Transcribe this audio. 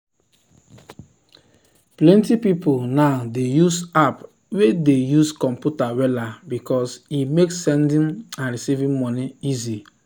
plenty people now dey use app way dey use computer wella because e make sending and receiving money easy.